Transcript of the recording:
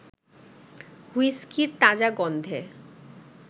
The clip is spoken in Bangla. হুইস্কির তাজা গন্ধে